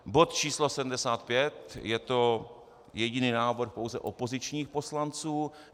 Bod číslo 75, je to jediný návrh pouze opozičních poslanců.